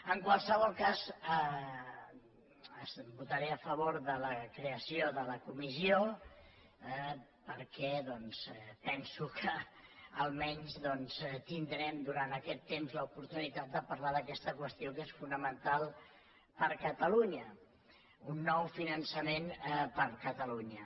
en qualsevol cas votaré a favor de la creació de la comissió perquè doncs penso que almenys tindrem durant aquest temps l’oportunitat de parlar d’aquesta qüestió que és fonamental per a catalunya d’un nou finançament per a catalunya